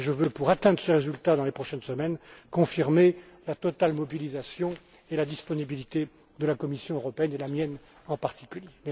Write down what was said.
résultat. Pour atteindre ce résultat dans les prochaines semaines, je veux confirmer la totale mobilisation et la disponibilité de la Commission européenne et la mienne, en particulier.